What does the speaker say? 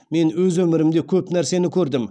мен өз өмірімде көп нәрсені көрдім